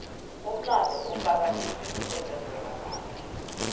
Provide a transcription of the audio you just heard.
umlando ufaka izinto ezenzeka kade